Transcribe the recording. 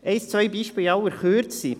Ein, zwei Beispiele in aller Kürze.